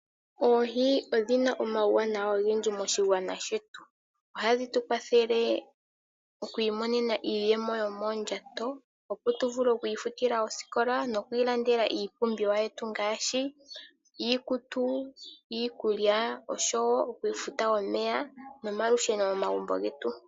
Oohi odhina omauwanawa ogendji moshigwana shetu, ohadhi tu kwathele okwiimonena iiyemo yomondjato, opo tu vule oku futa ooskola, nokwiilandela iipumbiwa yetu ngashi iikutu, iikulya osho wo oku futa omeya nomalusheno momagumbo getu.